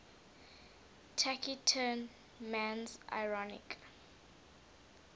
taciturn man's ironic